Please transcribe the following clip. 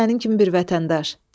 Mən də sənin kimi bir vətəndaş.